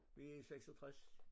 Vi i 66